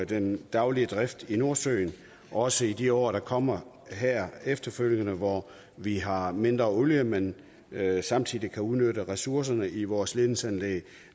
den daglige drift i nordsøen også i de år der kommer her efterfølgende hvor vi har mindre olie men samtidig kan udnytte ressourcerne i vores ledningsanlæg